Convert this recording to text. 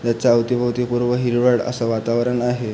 त्याच्या अवती भोवती पूर्ण हिरवळ अस वातावरण आहे.